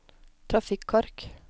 trafikkork